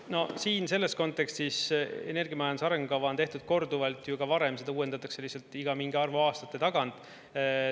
No siin selles kontekstis energiamajanduse arengukava on tehtud korduvalt ju ka varem, seda uuendatakse iga mingi arvu aastate tagant.